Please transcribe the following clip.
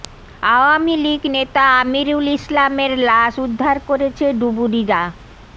আওয়ামী লীগ নেতা আমিরুল ইসলামের লাশ উদ্ধার করেছে ডুবুরিরা